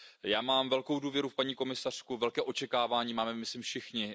Já mám velkou důvěru v paní komisařku a velká očekávání máme, myslím, všichni.